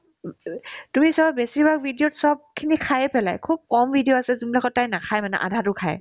এব ইবি তুমি বেছিভাগ video ত চবখিনি খায়ে পেলাই খুব কম video আছে যোনবিলাকত তাই নাখাই মানে আধাতো খাই